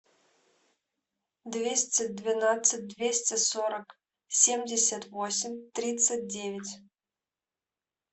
двести двенадцать двести сорок семьдесят восемь тридцать девять